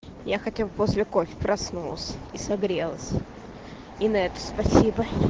я хотел после кофе проснулся и согрелась и на это спасибо